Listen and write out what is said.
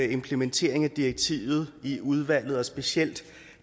implementeringen af direktivet i udvalget og specielt